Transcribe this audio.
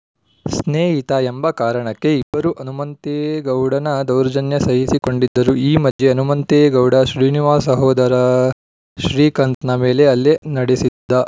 ಸ್ನೇಹಿತ ಎಂಬ ಕಾರಣಕ್ಕೆ ಇಬ್ಬರು ಹನುಮಂತೇಗೌಡನ ದೌರ್ಜನ್ಯ ಸಹಿಸಿಕೊಂಡಿದ್ದರು ಈ ಮಧ್ಯೆ ಹನುಮಂತೇಗೌಡ ಶ್ರೀನಿವಾಸ್‌ ಸಹೋದರ ಶ್ರೀಕಾಂತ್‌ನ ಮೇಲೆ ಹಲ್ಲೆ ನಡೆಸಿದ್ದ